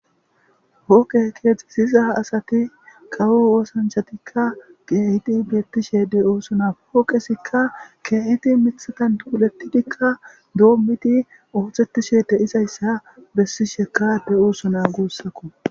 Pooqe keexeththiza asathi kawo oosanchchathikka keehidi beeththishe de7oosona;pooqethikka keehidi miththathan xuuleththidikka doommidi ooseththisheede de7izayssa bessishekka de7oosona guussakko.